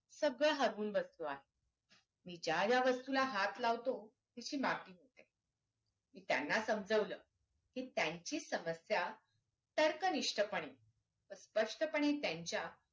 सगळं हरवून बसलो आहे मी ज्या ज्या वस्तूला हात लावतो तिची माती होते मी त्यांना समजावलं कि त्यांची समस्या तर्क निष्ठ पणे व स्पष्ट पाने त्यांच्या